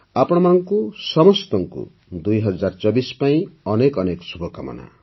ଆପଣ ସମସ୍ତଙ୍କୁ ୨୦୨୪ ପାଇଁ ଅନେକ ଅନେକ ଶୁଭକାମନା